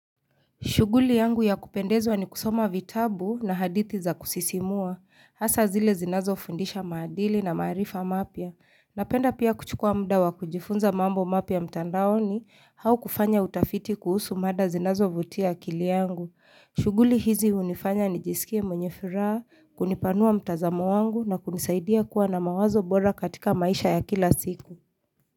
Shughuli yangu ya kupendezwa ni kusoma vitabu na hadithi za kusisimua. Hasaa zile zinazofundisha maadili na maarifa mapya. Napenda pia kuchukua muda wa kujifunza mambo mapya mtandaoni au kufanya utafiti kuhusu mada zinazovutia akili yangu. Shughuli hizi hunifanya nijisikie mwenye furaha, kunipanua mtazamo wangu na kunisaidia kuwa na mawazo bora katika maisha ya kila siku.